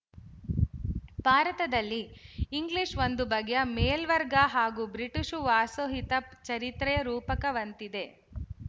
ಭಾರತದಲ್ಲಿ ಇಂಗ್ಲಿಶು ಒಂದು ಬಗೆಯ ಮೇಲ್ವರ್ಗ ಹಾಗೂ ಬ್ರಿಟಿಶು ವಾಸೋಹಿತ ಚರಿತ್ರೆಯ ರೂಪಕದಂತಿದೆ